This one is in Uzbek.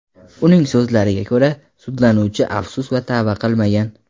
Uning so‘zlariga ko‘ra, sudlanuvchi afsus va tavba qilmagan.